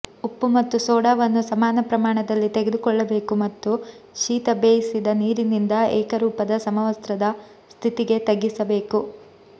ಉಪ್ಪು ಮತ್ತು ಸೋಡಾವನ್ನು ಸಮಾನ ಪ್ರಮಾಣದಲ್ಲಿ ತೆಗೆದುಕೊಳ್ಳಬೇಕು ಮತ್ತು ಶೀತ ಬೇಯಿಸಿದ ನೀರಿನಿಂದ ಏಕರೂಪದ ಸಮವಸ್ತ್ರದ ಸ್ಥಿತಿಗೆ ತಗ್ಗಿಸಬೇಕು